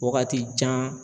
Waagati jan.